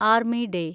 army day